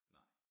Nej